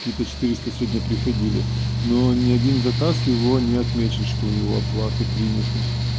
какие то четыреста сегодня приходили но ни один заказ его не отмечен что его оплаты приняты